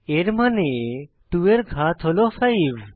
এর মানে 2 এর ঘাত হল 5